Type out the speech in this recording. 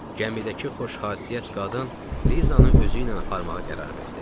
Gəmidəki xoşxasiyyət qadın Lizanı özüylə aparmağa qərar verdi.